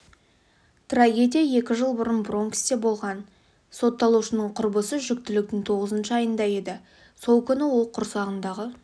трагедия екі жыл бұрын бронксте болған сотталушының құрбысы жүктіліктің тоғызыншы айында еді сол күні ол құрсағындағы